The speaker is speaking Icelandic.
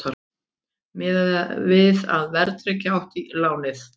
Miðað við að verðtryggja átti lánið